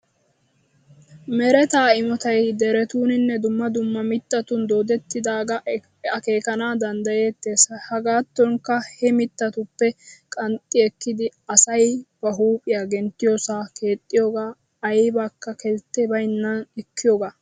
Mereta immotay derettuninne dumma dumma mittatun doodettiddaaga akkekana danddayettees. Hegattonikka he mittatuppe qanxxi ekkidi asay ba huuphiya genttiyoosa keexxiyooge aybbaka keltte bayinnan ekkiyooga.